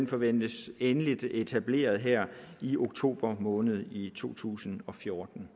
forventes endeligt etableret her i oktober måned i to tusind og fjorten